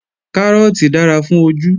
Kárọ́ọ̀tì dára fún ojú